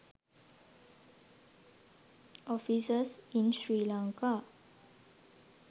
offices in sri lanka